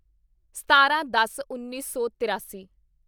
ਸਤਾਰਾਂਦਸਉੱਨੀ ਸੌ ਤਰਾਸੀ